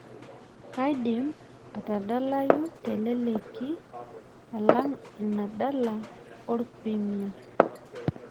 Kadim atadalayu teleleki oleng' ina dala orpirirmia